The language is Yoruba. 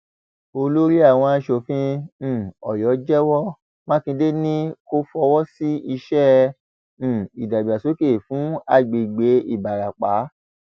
olórí àwọn asòfin um ọyọ jẹwọ mákindé ni kò fọwọ sí iṣẹ um ìdàgbàsókè fún agbègbè ìbarapá